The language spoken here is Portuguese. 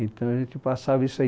Então a gente passava isso aí.